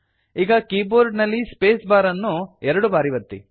ಈಗ ಕೀಬೋರ್ಡ್ ನಲ್ಲಿ space bar ಅನ್ನು ಎರಡು ಬಾರಿ ಒತ್ತಿ